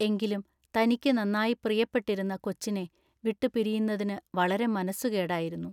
എങ്കിലും തനിക്കു നന്നായി പ്രിയപ്പെട്ടിരുന്ന കൊച്ചിനെ വിട്ടുപിരിയുന്നതിന് വളരെ മനസ്സുകേടായിരുന്നു.